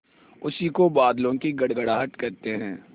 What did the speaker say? उसी को बादलों की गड़गड़ाहट कहते हैं